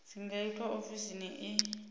dzi nga itwa ofisini i